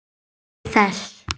Njóttu þess.